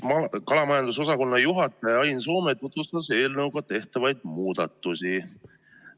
Kalamajandusosakonna juhataja Ain Soome tutvustas eelnõuga tehtavaid muudatusi.